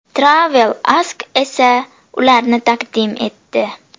Travel Ask esa ularni taqdim etdi.